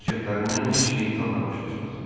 Hərəkətlərindən heç şeytan da baş açmaz.